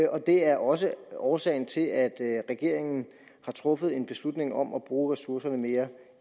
og det er også årsagen til at regeringen har truffet en beslutning om at bruge ressourcerne mere